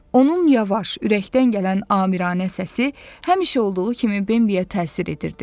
Onun yavaş, ürəkdən gələn amiranə səsi həmişə olduğu kimi Bambiyə təsir edirdi.